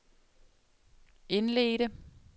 indledte